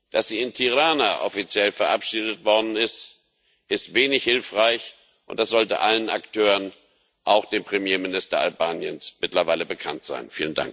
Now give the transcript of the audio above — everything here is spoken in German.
Dass sie in Tirana offiziell verabschiedet worden ist, ist wenig hilfreich, und das sollte allen Akteuren, auch dem Premierminister Albaniens, mittlerweile bekannt sein.